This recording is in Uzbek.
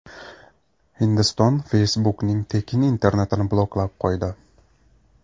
Hindiston Facebook’ning tekin internetini bloklab qo‘ydi.